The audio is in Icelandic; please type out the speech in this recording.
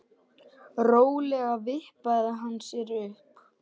Rólega vippaði hann sér upp.